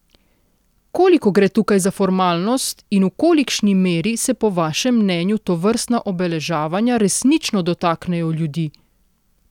Koliko gre tukaj za formalnost in v kolikšni meri se po vašem mnenju tovrstna obeleževanja resnično dotaknejo ljudi?